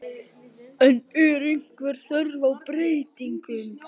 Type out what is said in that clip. En er einhver þörf á breytingum?